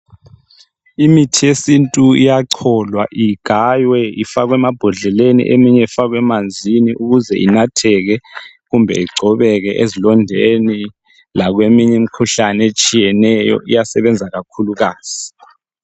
Imithi yesintu iyacholwa igaywe ifakwe emabhodleleni eminye ifakwe emanzini ukuze inatheke kumbe igcobekw ezilondeni lakweminye imikhuhlane etshiyeneyo iyasebenza kakhulukazi.